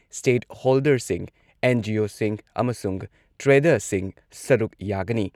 ꯁ꯭ꯇꯦꯠꯍꯣꯜꯗꯔꯁꯤꯡ ꯑꯦꯟ.ꯖꯤ.ꯑꯣꯁꯤꯡ ꯑꯃꯁꯨꯡ ꯇ꯭ꯔꯦꯗꯔꯁꯤꯡ ꯁꯔꯨꯛ ꯌꯥꯒꯅꯤ ꯫